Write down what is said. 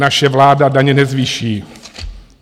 Naše vláda daně nezvýší.